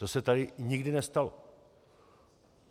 To se tady nikdy nestalo.